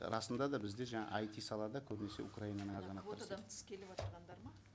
расында да бізде жаңа айти салада көбінесе украинаның азаматтары квотадан тыс келіп отырғандар ма